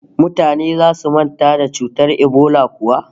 Mutane zasu manta da cutar ebola kuwa?